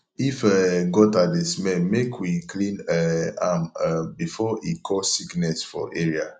if um gutter dey smell make we clean um am um before e cause sickness for area